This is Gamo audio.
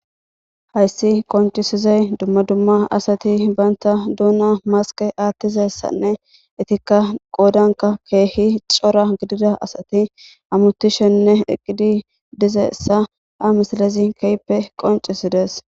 Hayssi qoncisizay dumma dumma asati baynta duuna maske aattizassanne itikka qoodanka keehi cora gidida asati amutishenne eqqidi dizaissa ha misalezi keyppe qoncisides.